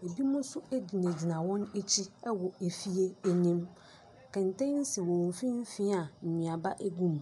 binom nso gyinagyina wɔn akyi wɔ fie ne mu, kɛntɛn si wɔn mfimfin a nnuaba gu mu.